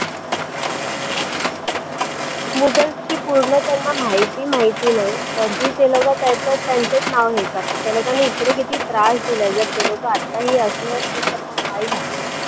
मुघलची पूर्ण त्यांना माहिती माहिती नाही तरीही ते लोकं त्याच त्यांचच नाव हे करतात त्यालोकांना इकडे किती त्रास दिला जर ते लोकं आताही असले असते तर मग काय झालं